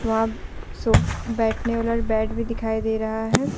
वहाँ सोफ बैठने वाला बेड भी दिखाई दे रहा है।